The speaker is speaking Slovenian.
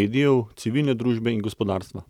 medijev, civilne družbe in gospodarstva.